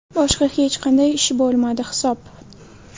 Boshqa hech qanday ish bo‘lmadi hisob”.